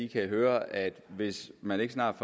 kan høre at hvis man ikke snart